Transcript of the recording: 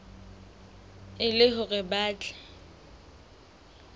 e le hore ba tle